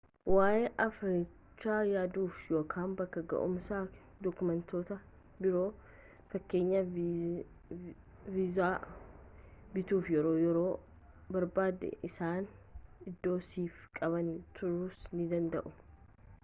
waa’ee affeerrichaa yaaduuf ykn bakka ga’umsakeef dookumentoota biroofkn. viizaa bituuf yeroo yoo barbaadde isaan iddoo siif qabanii turuus ni danda’u